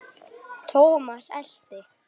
Thomas elti.